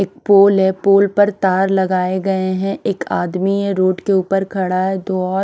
एक पोल है पोल पर तार लगाए गए हैं एक आदमी है रोड के ऊपर खड़ा है दो और--